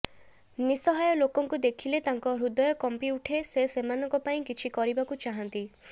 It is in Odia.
ନିଶହାୟ ଲୋକଙ୍କୁ ଦେଖିଲେ ତାଙ୍କ ହୃଦୟ କମ୍ପି ଉଠେ ସେ ସେମାନଙ୍କ ପାଇଁ କିଛି କରିବାକୁ ଚାହାନ୍ତି